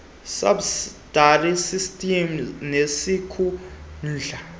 subsidy system nesisikhundla